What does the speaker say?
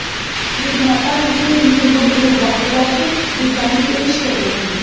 ਨਿਰਮਾਤਾ ਕਿਸੇ ਵੀ ਉਮਰ ਦੇ ਵੱਖ ਵੱਖ ਡਿਜ਼ਾਈਨ ਪੇਸ਼ ਕਰਦੇ ਹਨ